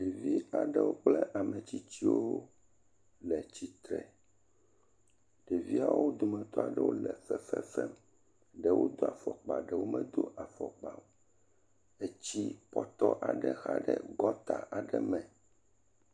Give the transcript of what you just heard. Ɖevi aɖewo kple ametsitsiwo le tsitre, ɖeviawo wometɔ aɖewo le fefe fem ɖewo do afɔkpa ɖewo medo afɔkpa o, etsi pɔtɔ aɖe xa ɖe gɔta aɖe me.